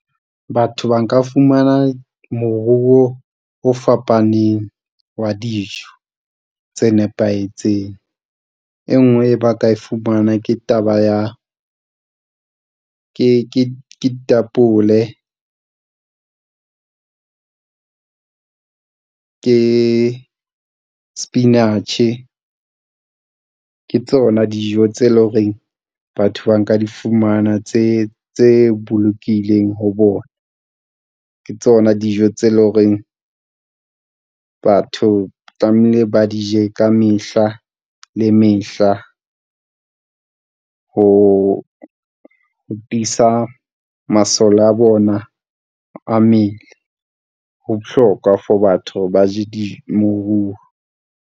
Batho ba nka fumana moruo o fapaneng wa dijo tse nepahetseng. E nngwe e ba ka e fumana. Ke taba ya ke ditapole. Ke sepinatjhe ke tsona dijo tse leng ho reng batho ba nka di fumana tse bolokileng ho bona, ke tsona dijo tse leng ho reng. Batho tlamehile ba di je ka mehla le mehla ho tiisa masole a bona a mmele. Ho bohlokwa for batho ba je .